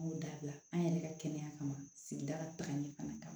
An y'o dabila an yɛrɛ ka kɛnɛya kama sigidakan ɲɛ fana kama